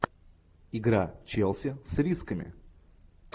игра челси с рисками